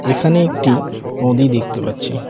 এখানে একটি নদী দেখতে পাচ্ছি।